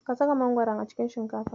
Ka saka mangoron a cikin shinkafa.